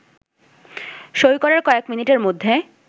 সই করার কয়েক মিনিটের মধ্যে